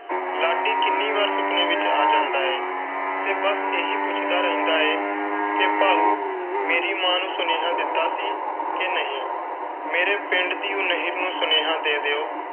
ਲਾਡੀ ਕਿੰਨੀ ਵਾਰ ਸੁਪਨੇ ਵਿਚ ਆ ਜਾਂਦਾ ਹੈ, ਤੇ ਬਸ ਇਹ ਹੀ ਪੁੱਛਦਾ ਰਹਿੰਦਾ ਹੈ ਕਿ ਭਾਉ ਮੇਰੀ ਮਾਂ ਨੂੰ ਸੁਨੇਹਾ ਦਿੱਤਾ ਸੀ ਕਿ ਨਹੀਂ? ਮੇਰੀ ਪਿੰਡ ਦੀ ਉਹ ਨਹਿਰ ਨੂੰ ਸੁਨੇਹਾ ਦੇ ਦਿਓ।